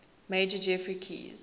major geoffrey keyes